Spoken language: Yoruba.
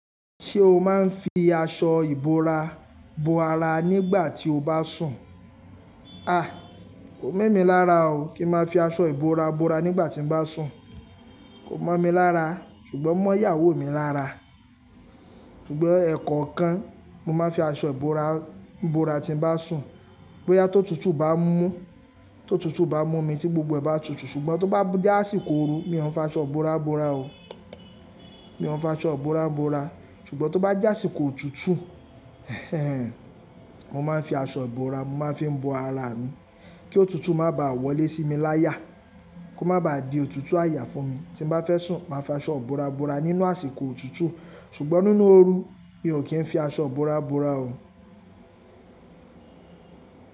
Ṣé o máa ń fi aṣọ ìbora bo ara nígbà tí o bá sùn? A! Kò mọ̀ mí lára o kí ń máa fi aṣọ ìbora bora nígbà tí mo bá sùn. Kò mọ̀ mí lára ṣùgbọ́n o mọ́ ìyàwó mi lára. Sugbon ẹ̀ẹ̀kọ̀kan mo máa ń fi aṣọ ìbora bora tí mo bá sùn. Boya tó tutù bá mú, tó tutù bá mú mi tí gbogbo ẹ̀ bá tutù ṣùgbọ́n tó bá jásìkó oru mi ò ń fi aṣọ ìbora bora o. Mi ò ń fi aṣọ ìbora bora ṣùgbọ́n tó bá jásì kó otutù, mo máa ń fi aṣọ ìbora mo máa ń fi bo ara mi kí òtútù má bàa wọlé sí mi láya. Kó má bàa di òtútù àyà fún mi tí mo bá fẹ́ sùn màá fi aṣọ ìbora bora nínú àsìkò òtútù ṣùgbọ́n nínú oru mi ò kí ń fi aṣọ ìbora bora o.